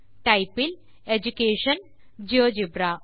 type இல் education GeoGebra